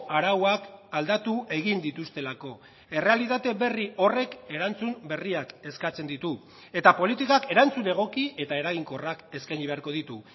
arauak aldatu egin dituztelako errealitate berri horrek erantzun berriak eskatzen ditu eta politikak erantzun egoki eta eraginkorrak eskaini beharko ditu